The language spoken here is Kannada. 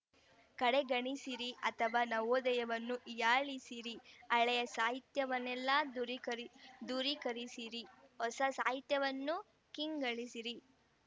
ಕಡೆಗಣಿಸಿರಿ ಅಥವಾ ನವೋದಯವನ್ನು ಹೀಯಾಳಿಸಿರಿ ಹಳೆಯ ಸಾಹಿತ್ಯವನ್ನೆಲ್ಲ ದೂರೀಕರಿ ದೂರೀಕರಿಸಿರಿ ಹೊಸ ಸಾಹಿತ್ಯವನ್ನು ಕೀಳ್ಗಣಿಸಿರಿ